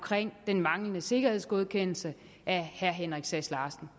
den manglende sikkerhedsgodkendelse af herre henrik sass larsen